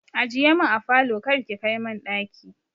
Ajiye min a falo kar ki kai min ɗaki.